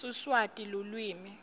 siswati lulwimi